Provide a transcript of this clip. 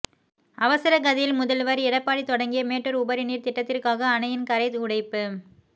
அவசரகதியில் முதல்வர் எடப்பாடி தொடங்கிய மேட்டூர் உபரிநீர் திட்டத்திற்காக அணையின் கரை உடைப்பு